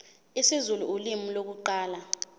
isizulu ulimi lokuqala